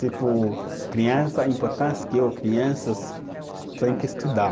Tipo, criança, a importância que crianças tem que estudar.